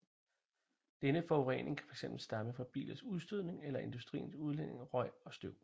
Denne forurening kan fx stamme fra bilers udstødning eller industriens udledning af røg og støv